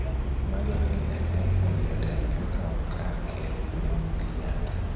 madwaro ni achiel kuom jotendgi okaw kar Ker Ouru Kenyatta